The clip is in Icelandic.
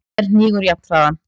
en hnígur jafnharðan.